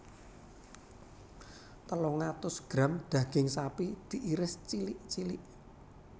Telung atus gram daging sapi diiris cilik cilik